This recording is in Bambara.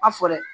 A fɔ dɛ